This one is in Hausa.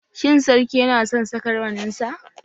Shin sarki yana son saka rawaninsa?